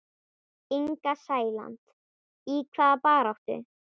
Inga Sæland: Í hvaða baráttu?